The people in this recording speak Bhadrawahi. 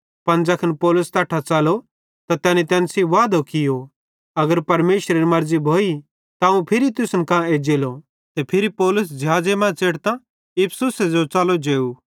पन ज़ैखन पौलुस तैट्ठां च़लो त तैनी तैन सेइं वादो कियो अगर परमेशरेरी मर्ज़ी भोई त अवं फिरी तुसन कां एज्जेलो ते फिरी पौलुस ज़िहाज़े मां च़ेढ़तां इफिसुसे जो च़लो जेव